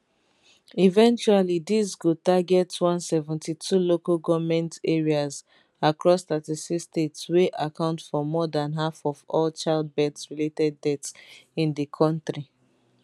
eventually dis go target 172 local goment areas across 33 states wey account for more dan half of all childbirthrelated deaths in di kontri